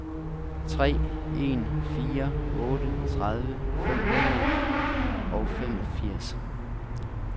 tre en fire otte tredive fem hundrede og femogfirs